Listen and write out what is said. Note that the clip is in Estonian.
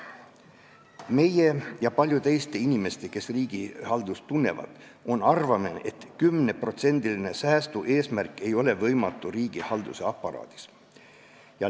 Meie ja paljude Eesti inimeste arvates, kes riigihaldust tunnevad, ei ole võimatu 10%-line säästueesmärk riigihalduse aparaadis.